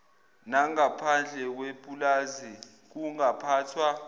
nangaphandle kwepulazi kungaphathwa